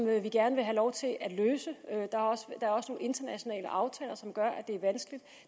vil vi gerne have lov til at løse og internationale aftaler som gør at det er vanskeligt